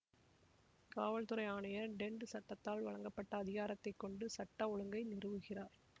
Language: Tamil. காவல் துறை ஆணையர் டென்ட் சட்டத்தால் வழங்கப்பட்ட அதிகாரத்தை கொண்டு சட்ட ஒழுங்கை நிறுவுகிறார்